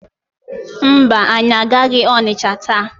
Mba, anyị agaghị Ọnịcha taa.